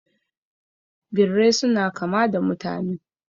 Birrai suna kama da mutane